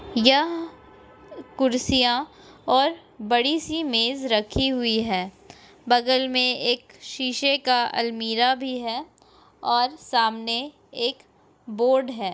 यह कुर्सियां और बड़ी-सी मेज रखी हुई है बगल में एक शीशे का अलमीरा भी है और सामने एक बोर्ड है।